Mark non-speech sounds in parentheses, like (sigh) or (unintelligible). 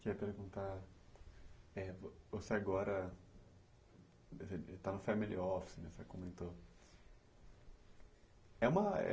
Queria perguntar, eh, você agora está no family office, você comentou, é uma (unintelligible)